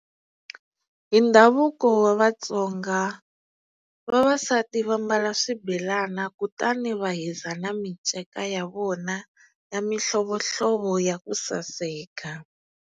Hi ndhavuko wa Vatsonga vavasati va mbala swibelana kutani va hiza na miceka ya vona ya mihlovohlovo ya ku saseka.